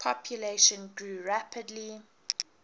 population grew rapidly